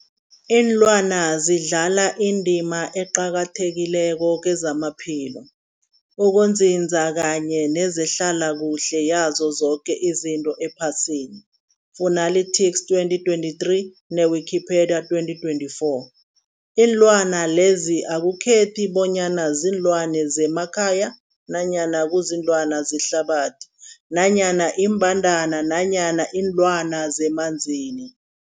Ilwana zidlala indima eqakathekileko kezamaphilo, ukunzinza kanye nezehlala kuhle yazo zoke izinto ephasini, Fuanalytics 2023, ne-Wikipedia 2024. Iinlwana lezi akukhethi bonyana ziinlwana zemakhaya nanyana kuziinlwana zehlathini nanyana iimbandana nanyana iinlwana zemanzini.